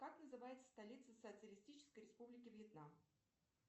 как называется столица социалистической республики вьетнам